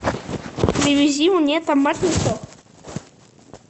привези мне томатный сок